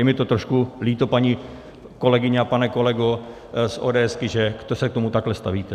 Je mi to trošku líto, paní kolegyně a pane kolego z ODS, že se k tomu takhle stavíte.